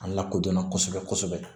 An lakodɔnna kosɛbɛ kosɛbɛ